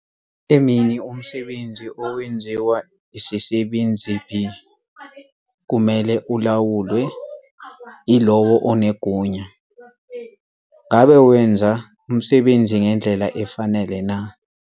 Emini umsebenzi owenziwa isisebenzi B kumele ulawulwe yilowo onegunya - ngabe wenza umsebenzi ngendlela efanele na?